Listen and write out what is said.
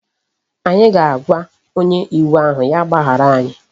Anyi ga-aagwa onye iwu ahu ya gbahara anyi